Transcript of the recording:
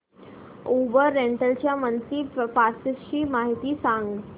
Uber rental च्या monthly passes ची माहिती सांग